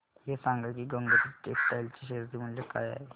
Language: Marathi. हे सांगा की गंगोत्री टेक्स्टाइल च्या शेअर चे मूल्य काय आहे